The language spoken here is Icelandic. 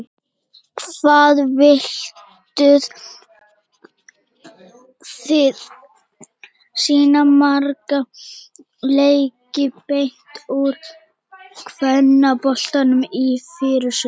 Hvað vilduð þið sýna marga leiki beint úr kvennaboltanum í fyrrasumar?